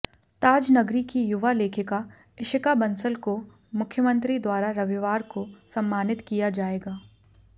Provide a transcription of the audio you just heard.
ताजनगरी की युवा लेखिका इशिका बंसल को मुख्यमंत्री द्वारा रविवार को सम्मानित किया जाएगा